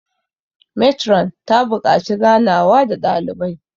metron ta buƙaci ganawa da dalibai